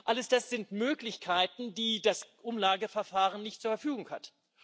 All das sind Möglichkeiten, die das Umlageverfahren nicht zur Verfügung hat.